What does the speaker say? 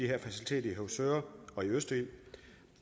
her facilitet i høvsøre og i østerild